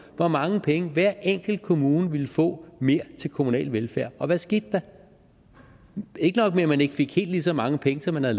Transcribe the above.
hvor mange penge hver enkelt kommune ville få mere til kommunal velfærd og hvad skete der ikke nok med at man ikke fik helt lige så mange penge som man var